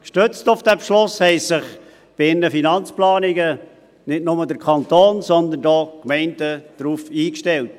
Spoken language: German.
Gestützt auf diesen Beschluss haben sich nicht nur der Kanton, sondern auch die Gemeinden bei ihren Finanzplanungen darauf eingestellt.